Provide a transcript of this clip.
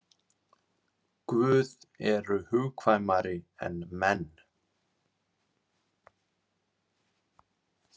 Guð eru hugkvæmari en menn.